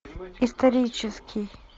исторический